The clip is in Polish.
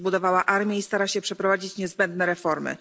Zbudowała armię i stara się przeprowadzić niezbędne reformy.